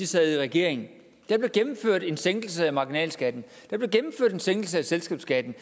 sad i regering der blev gennemført en sænkelse af marginalskatten der blev gennemført en sænkelse af selskabsskatten